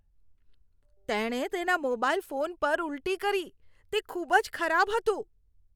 તેણે તેના mobile phone પર ઉલટી કરી. તે ખૂબ જ ખરાબ હતું.